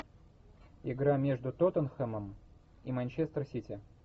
игра между тоттенхэмом и манчестер сити